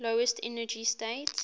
lowest energy state